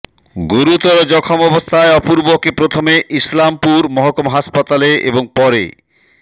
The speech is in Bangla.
গুরুতর জখম অবস্থায় অপূর্বকে প্রথমে ইসলামপুর মহকুমা হাসপাতালে এবং পরে